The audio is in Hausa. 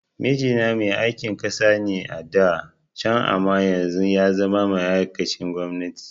Mijina mai aikin kansa ne a da can amma yanzu yazama ma'aikacin gwamnati